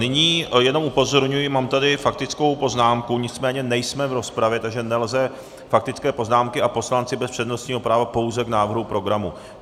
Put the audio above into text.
Nyní jenom upozorňuji, mám tady faktickou poznámku, nicméně nejsme v rozpravě, takže nelze faktické poznámky, a poslanci bez přednostního práva pouze k návrhu programu.